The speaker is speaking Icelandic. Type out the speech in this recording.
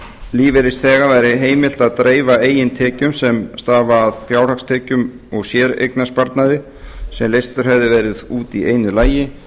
lífeyrisþega væri heimilt að dreifa eigin tekjum sem stafa af fjárhagstekjum og séreignarsparnaði sem leystur hefði verið út í einu lagi